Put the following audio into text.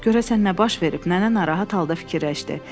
Görəsən nə baş verib, Nənə narahat halda fikirləşdi.